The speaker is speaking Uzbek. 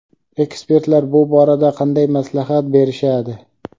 Ekspertlar bu borada qanday maslahat berishadi?.